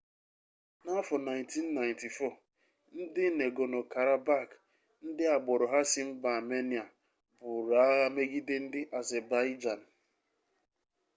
n'afọ 1994 ndị negorno-karabakh ndị agbụrụ ha si mba amenịa buru agha megide ndị azebaịjan